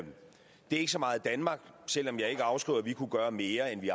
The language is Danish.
ikke så meget danmark selv om jeg ikke afskriver at vi kunne gøre mere end vi